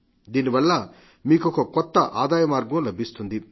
దీనివల్ల మీకొక కొత్త ఆదాయమార్గం లభిస్తుంది